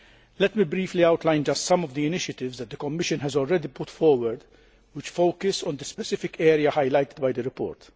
Let me briefly outline just some of the initiatives that the Commission has already brought forward and which focus on the specific areas highlighted by the report.